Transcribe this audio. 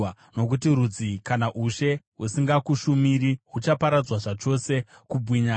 Nokuti rudzi kana ushe husingakushumiri huchaparadzwa; huchaparadzwa zvachose.